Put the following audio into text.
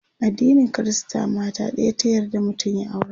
addinin Krista mata ɗaya ta yarda mutum ya aura